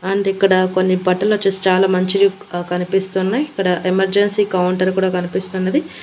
And ఇక్కడ కొన్ని బట్టలు వచ్చేసి చాలా మంచి కనిపిస్తున్నాయి ఇక్కడ ఎమర్జెన్సీ కౌంటర్ కూడా కనిపిస్తున్నది.